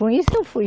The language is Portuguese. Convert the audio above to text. Com isso, eu fui.